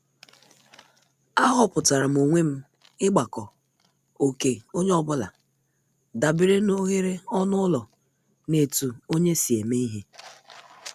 Aghoputaram onwe m igbako oké onye ọ bụla dabere n' oghere ọnụ ụlọ na etu onye si eme ihe.